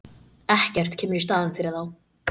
Ekkert kemur í staðinn fyrir þá.